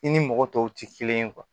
I ni mɔgɔ tɔw tɛ kelen ye